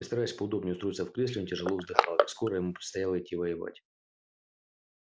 и стараясь поудобнее устроиться в кресле он тяжело вздыхал ведь скоро ему предстояло идти воевать